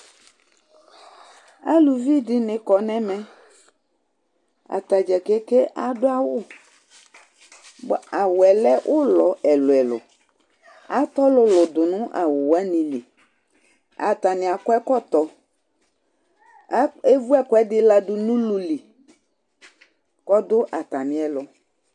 Aluvɩ dini kɔ n'ɛmɛ, atadza keke adu awu, bua awuɛ 'lɛ ulɔ ɛlu ɛlu At'ɔlulu du nu awu wan lɩ Atani akɔ ɛkɔtɔ, a eʋu ɛkuɛdi ladu nu ulu lɩ k'ɔdu atami ɛlu